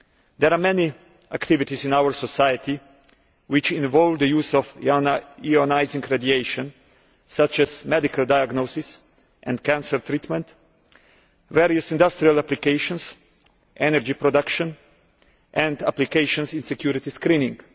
There are many activities in our society which involve the use of ionising radiation, such as medical diagnosis and cancer treatment, various industrial applications, energy production and applications in security screening.